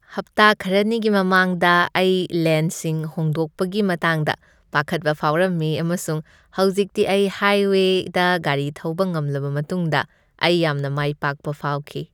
ꯍꯞꯇꯥ ꯈꯔꯅꯤꯒꯤ ꯃꯃꯥꯡꯗ, ꯑꯩ ꯂꯦꯟꯁꯤꯡ ꯍꯣꯡꯗꯣꯛꯄꯒꯤ ꯃꯇꯥꯡꯗ ꯄꯥꯈꯠꯄ ꯐꯥꯎꯔꯝꯃꯤ, ꯑꯃꯁꯨꯡ ꯍꯧꯖꯤꯛꯇꯤ ꯑꯩ ꯍꯥꯏꯋꯦꯗ ꯒꯥꯔꯤ ꯊꯧꯕ ꯉꯝꯂꯕ ꯃꯇꯨꯡꯗ ꯑꯩ ꯌꯥꯝꯅ ꯃꯥꯏ ꯄꯥꯛꯄ ꯐꯥꯎꯈꯤ!